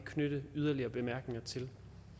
knytte yderligere bemærkninger til